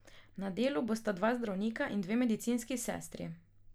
Na delu bosta dva zdravnika in dve medicinski sestri.